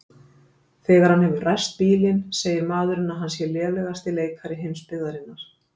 Þegar hann hefur ræst bílinn segir maðurinn að hann sé lélegasti leikari heimsbyggðarinnar.